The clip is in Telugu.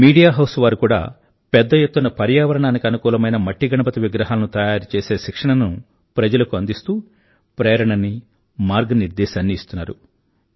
మీడియా హౌస్ వారు కూడా పెద్ద ఎత్తున పర్యావరణానికి అనుకూలమైన మట్టి గణపతి విగ్రహాలను తయారుచేసే శిక్షణను ప్రజలకు అందిస్తూ ప్రేరణని మార్గనిర్దేశాన్నీ ఇస్తున్నారు